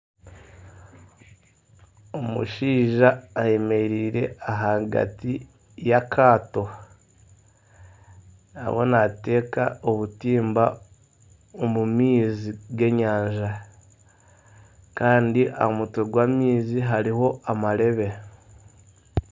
Omushaija ayemereire ahagati y'akaato, ariyo naateka obutimba omu maizi g'enyanja. Kandi aha mutwe gw'amaizi hariho amarebe.